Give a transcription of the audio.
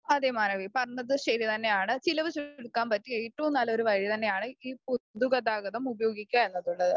അതേ മാനവി പറഞ്ഞത് ശരി തന്നെയാണ് ചിലവ് ചുരുക്കാൻ പറ്റിയ ഏറ്റവും നല്ല ഒരു വഴി തന്നെയാണ് ഈ പൊതുഗതാഗതം ഉപയോഗിക്കുക എന്നതുള്ളത്